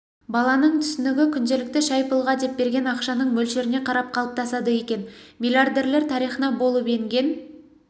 баланың түсінігі күнделікті шай-пұлға деп берген ақшаның мөлшеріне қарап қалыптасады екен миллиардерлер тарихына болып енген